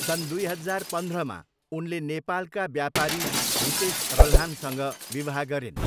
सन् दुई हजार पन्ध्रमा उनले नेपालका व्यापारी हितेश रल्हानसँग विवाह गरिन्।